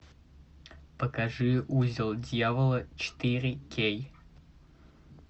покажи узел дьявола четыре кей